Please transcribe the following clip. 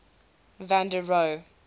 van der rohe